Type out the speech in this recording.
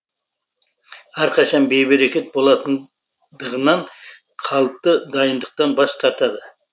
әрқашан бейберекет болатындығынан қалыпты дайындықтан бас тартады